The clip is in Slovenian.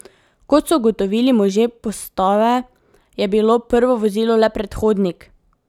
Kot so ugotovili možje postave, je bilo prvo vozilo le predhodnik.